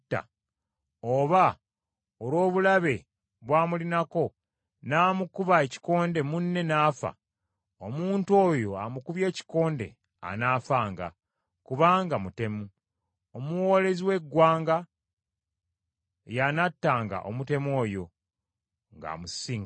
oba olw’obulabe bw’amulinako n’amukuba ekikonde, munne n’afa, omuntu oyo amukubye ekikonde anaafanga; kubanga mutemu. Omuwoolezi w’eggwanga y’anattanga omutemu oyo ng’amusisinkanye.